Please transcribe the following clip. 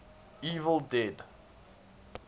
evil dead